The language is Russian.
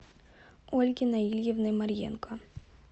ольги наилевны марьенко